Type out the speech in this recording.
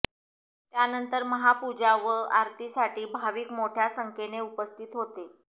त्यानंतर महापूजा व आरतीसाठी भाविक मोठय़ा संख्येने उपस्थित होते